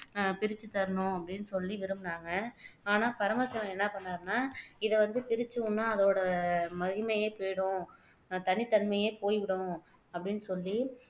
பிரிச்சு தரணும் அப்படின்னு சொல்லி விரும்புனாங்க ஆனால் பரமசிவன் என்ன பண்ணாருன்னா இதை வந்து பிரிச்சு உண்ணா அதோட மகிமையே போய்டும் தனித்தன்மையே போய்விடும் அப்படின்னு சொல்லி